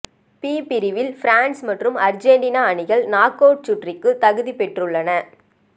B பிரிவில் France மற்றும் Argentina அணிகள் நாக் அவுட் சுற்றுக்கு தகுதி பெற்றுள்ளன